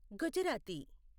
Gujarati